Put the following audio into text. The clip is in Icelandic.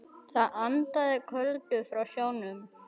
Það andaði köldu frá sjónum.